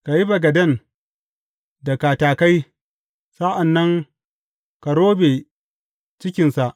Ka yi bagaden da katakai, sa’an nan ka robe cikinsa.